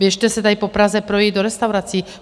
Běžte se tady po Praze projít do restaurací.